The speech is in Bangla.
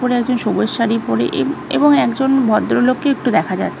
কোন একজন সবুজ শাড়ি পরে এ এবং একজন ভদ্রলোককে একটু দেখা যাচ --